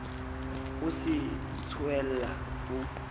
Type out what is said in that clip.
o se a tsohella ha